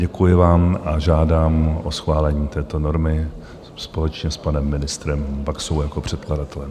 Děkuji vám a žádám o schválení této normy společně s panem ministrem Baxou jako předkladatelem.